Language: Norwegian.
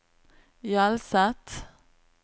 Hjelset